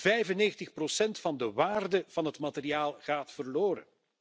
95 procent van de waarde van het materiaal gaat verloren.